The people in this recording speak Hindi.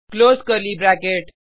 close curly bracket